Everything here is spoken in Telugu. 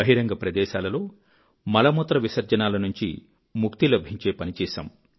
బహిరంగ ప్రదేశాలలో మలమూత్ర విసర్జనాల నుంచి ముక్తి లభించే పని చేశాము